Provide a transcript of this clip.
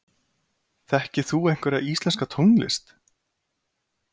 Þekkir þú einhverja íslenska tónlist?